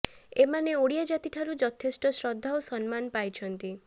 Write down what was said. ଏମାନେ ଓଡ଼ିଆ ଜାତିଠାରୁ ଯଥେଷ୍ଟ ଶ୍ରଦ୍ଧା ଓ ସମ୍ମାନ ପାଇଛନ୍ତି